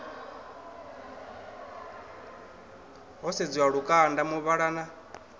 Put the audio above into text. ho sedziwa lukanda muvhala na